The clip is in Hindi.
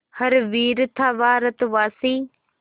हर वीर था भारतवासी